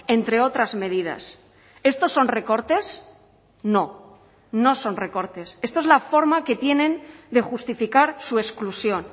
entre otras medidas estos son recortes no no son recortes esto es la forma que tienen de justificar su exclusión